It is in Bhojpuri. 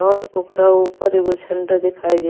और ओकरा ऊपर एगो झंडा दिखाई दे --